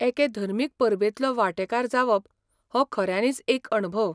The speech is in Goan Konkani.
एके धर्मीक परबेंतलो वांटेकार जावप हो खऱ्यानीच एक अणभव.